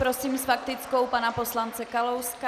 Prosím s faktickou pana poslance Kalouska.